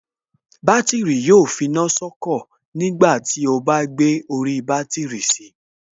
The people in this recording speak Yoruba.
Bátìrì yóò finá sọ́kọ̀ tí ó bá gbé orí bátìrì si